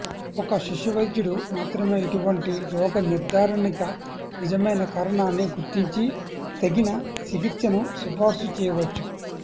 ఒక శిశువైద్యుడు మాత్రమే ఇటువంటి రోగనిర్ధారణకి నిజమైన కారణాన్ని గుర్తించి తగిన చికిత్సను సిఫారసు చేయవచ్చు